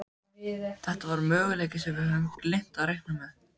Þetta var möguleiki sem við höfðum gleymt að reikna með.